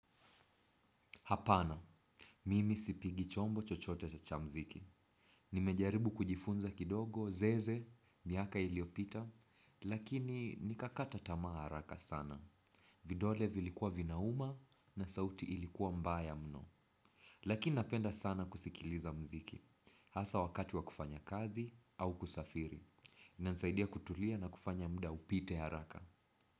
Hapana, mimi sipigi chombo chochote cha muziki. Nimejaribu kujifunza kidogo, zeze, miaka iliyopita, lakini nikakata tamaa haraka sana. Vidole vilikuwa vinauma na sauti ilikuwa mbaya mno. Lakini napenda sana kusikiliza muziki, hasa wakati wa kufanya kazi au kusafiri. Inanisaidia kutulia na kufanya muda upite haraka.